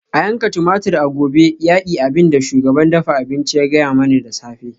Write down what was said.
A yanka tumatur a gobe yaki abin da shugaban dafa abinci ya gaya mani da safe